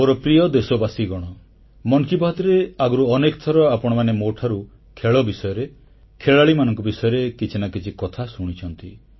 ମୋର ପ୍ରିୟ ଦେଶବାସୀଗଣ ମନ୍ କି ବାତ୍ରେ ଆଗରୁ ଅନେକ ଥର ଆପଣମାନେ ମୋଠାରୁ ଖେଳ ବିଷୟରେ ଖେଳାଳିମାନଙ୍କ ବିଷୟରେ କିଛି ନା କିଛି କଥା ଶୁଣିଛନ୍ତି